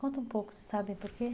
Conta um pouco, você sabe por quê?